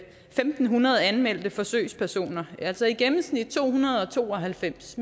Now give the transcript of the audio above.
fem hundrede anmeldte forsøgspersoner altså i gennemsnit to hundrede og to og halvfems